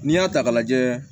N'i y'a ta k'a lajɛ